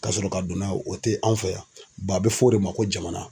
Ka sɔrɔ ka don n'a ye, o te anw fɛ yan. a be fɔ o de ma ko jamana.